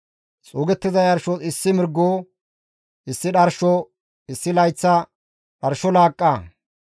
Xuugettiza yarshos issi mirgo, issi dharsho, issi layththa dharsho laaqqa,